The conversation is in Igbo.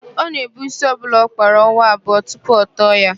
Ọ na-èbú ísí ọbụla ọ kpara ọnwa abụọ tupu ọ tọọ ya.